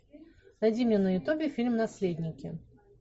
найди мне на ютубе фильм наследники